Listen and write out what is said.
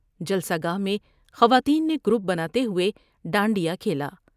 جلسہ گاہ میں خواتین نے گروپ بناتے ہوۓ ڈانڈ یا کھیلا ۔